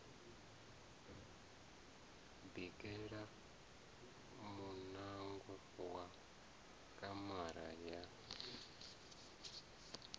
bikela muṋango wa kamara ya